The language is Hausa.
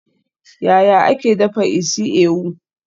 Yaya ake dafa isi-ewu?